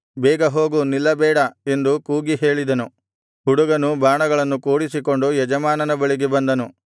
ಬೇಗ ಹೋಗು ನಿಲ್ಲಬೇಡ ಎಂದು ಕೂಗಿ ಹೇಳಿದನು ಹುಡುಗನು ಬಾಣಗಳನ್ನು ಕೂಡಿಸಿಕೊಂಡು ಯಜಮಾನನ ಬಳಿಗೆ ಬಂದನು